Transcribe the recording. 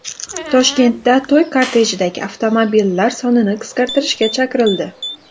Toshkentda to‘y kortejidagi avtomobillar sonini qisqartirishga chaqirildi.